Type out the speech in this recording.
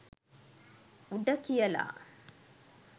“උඩ” කියලා.